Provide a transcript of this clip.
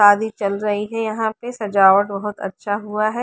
शादी चल रही है यहाँ पे सजावट बहुत अच्छा हुआ है।